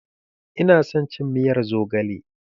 Ina son cin miyar zogale.